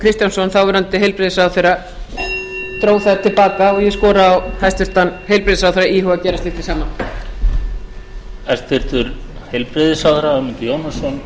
kristjánsson þáverandi heilbrigðisráðherra dró það til baka og ég skora á hæstvirtan heilbrigðisráðherra að íhuga að gera slíkt hið sama